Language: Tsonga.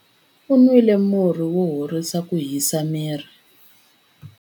U nwile murhi wo horisa ku hisa miri.